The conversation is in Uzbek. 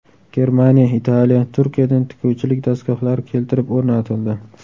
Germaniya, Italiya, Turkiyadan tikuvchilik dastgohlari keltirib o‘rnatildi.